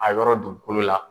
A yɔrɔ dugukolo la.